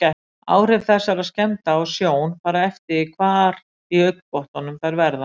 Áhrif þessara skemmda á sjón fara eftir því hvar í augnbotnunum þær verða.